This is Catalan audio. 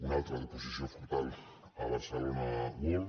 una altra d’oposició frontal a barcelona world